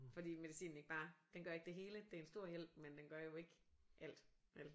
Fordi medicinen ikke bare den gør ikke det hele det er en stor hjælp men den gør jo ikke alt vel